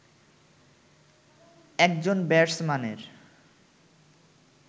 একজন ব্যাটসম্যানের